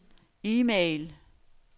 e-mail